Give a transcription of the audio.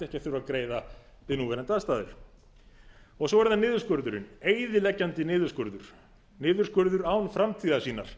þurfa greiða við núverandi aðstæður svo er það niðurskurðurinn eyðileggjandi niðurskurður niðurskurður án framtíðarsýnar